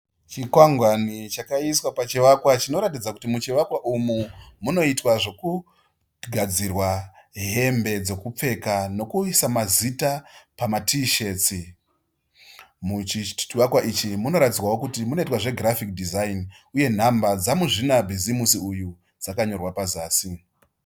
Chikwangwani chakaiswa pachivakwa chinoratidza kuti muchivakwa umu munoitwa zvekugadzirwa hembe dzekupfeka nekuisa mazita pamatishetsi. Muchivakwa ichi munoratidza kuti munoitwa zve girafiki dhizaini uye nhamba dzamuzvinabhizimusi uyu dzakanyorwa pazasi.